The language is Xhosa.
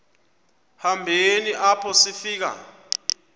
hambeni apho sifika